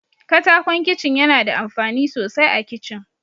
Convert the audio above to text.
Katakon Kicin yana da amfani sosai a Kicin.